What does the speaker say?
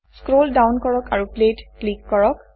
scroll down কৰক আৰু play ত ক্লিক কৰক